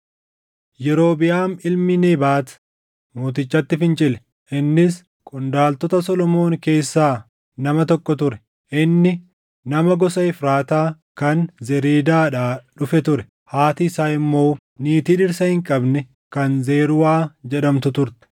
Yerobiʼaam ilmi Nebaat mootichatti fincile. Innis qondaaltota Solomoon keessaa nama tokko ture; inni nama gosa Efraataa kan Zereedaadhaa dhufe ture; haati isaa immoo niitii dhirsa hin qabne kan Zeruwaa jedhamtu turte.